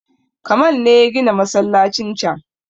Kamal ne ya gina masallacin can